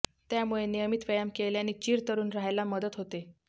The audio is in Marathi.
त्यामुळे नियमित व्यायाम केल्यानी चिरतरुण राहायला मदत होते